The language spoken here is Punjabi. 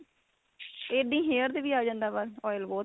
ਇਹ ਵੀ hair ਤੇ ਵੀ ਆ ਜਾਂਦਾ ਵਾ oil ਬਹੁਤ